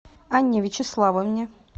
анне вячеславовне